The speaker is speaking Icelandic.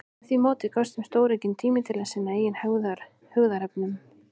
Með því móti gafst þeim stóraukinn tími til að sinna eigin hugðarefnum.